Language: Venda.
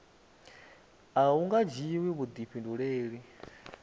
a hu nga dzhiwi vhuḓifhinduleli